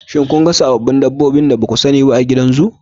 Shin kun ga sababbin dabbobin da ba ku sani ba a da a gidan zu?